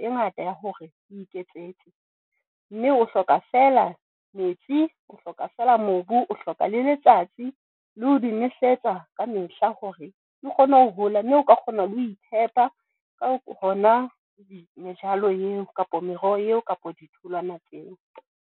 E ngata ya hore o iketsetse mme o hloka fela metsi, o hloka fela mobu o hloka le letsatsi le ho di nosetsa ka mehla hore di kgone ho hola. Mme oka kgona le ho itshepa ka hona mejalo eo kapa meroho eo kapa ditholwana tseo.